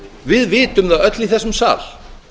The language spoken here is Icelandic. við vitum það öll í þessum sal